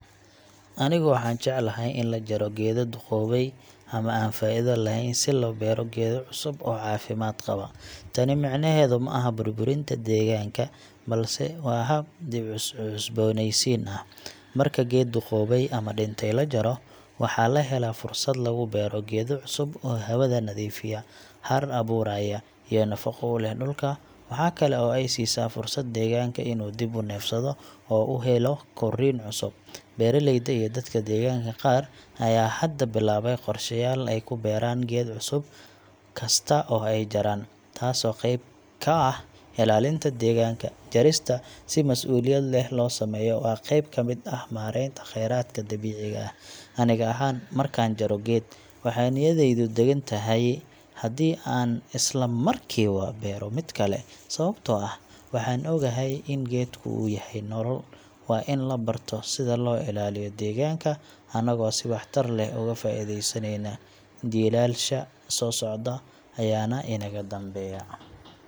Anigu waan jeclahay in la jaro geedo duqoobay ama aan faa’iido lahayn, si loo beero geedo cusub oo caafimaad qaba. Tani micnaheedu ma aha burburinta deegaanka, balse waa hab dib-u-cusboonaysiin ah. Marka geed duqoobay ama dhintay la jaro, waxa la helaa fursad lagu beero geedo cusub oo hawada nadiifiya, hadh abuuraya, iyo nafaqo u leh dhulka. Waxa kale oo ay siisaa fursad deegaanka in uu dib u neefsado oo uu helo korriin cusub. Beeralayda iyo dadka deegaanka qaar ayaa hadda bilaabay qorshayaal ay ku beeraan geed cusub kasta oo ay jaraan, taasoo qeyb ka ah ilaalinta deegaanka. Jarista si mas’uuliyad leh loo sameeyo waa qeyb ka mid ah maaraynta khayraadka dabiiciga ah. Aniga ahaan, markaan jaro geed, waxaa niyadeydu degan tahay haddii aan isla markiiba beero mid kale, sababtoo ah waxaan ogahay in geedku uu yahay nolol. Waa in la barto sida loo ilaaliyo deegaanka anagoo si waxtar leh uga faa’iidaysanayna, jiilasha soo socda ayaana inaga danbeeya.